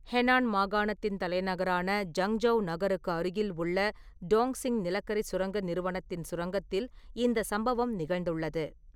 Henan மாகாணத்தின் தலைநகரான Zhengzhou நகருக்கு அருகில் உள்ள டாங்க்சிங் நிலக்கரிச் சுரங்க நிறுவனத்தின் சுரங்கத்தில் இந்தச் சம்பவம் நிகழ்ந்துள்ளது.